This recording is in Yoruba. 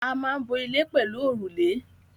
A maa n bo ile pelu orule